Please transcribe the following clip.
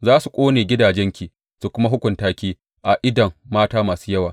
Za su ƙone gidajenki su kuma hukunta ki a idon mata masu yawa.